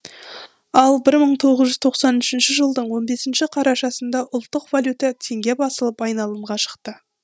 ал бір мың тоғыз жүз тоқсан үшінші жылдың он бесінші қарашасында ұлттық валюта теңге басылып айналымға шықты